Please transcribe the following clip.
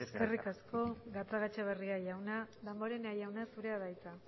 betetzen ari gara eskerrik asko gatzagaetxebarria jauna damborenea jauna zurea da hitza